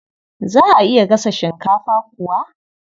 Za a iya gasa shinkafa kuwa?